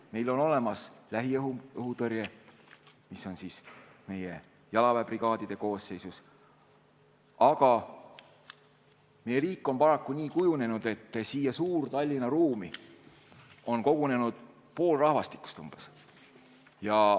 Meil on olemas lähiõhutõrje, mis on meie jalaväebrigaadide koosseisus, aga meie riigis on paraku nii kujunenud, et siia suur-Tallinna ruumi on kogunenud pool rahvastikust.